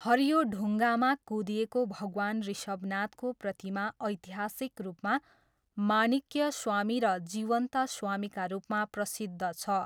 हरियो ढुङ्गामा कुँदिएको भगवान ऋषभनाथको प्रतिमा ऐतिहासिक रूपमा माणिक्यस्वामी र जीवन्तस्वामीका रूपमा प्रसिद्ध छ।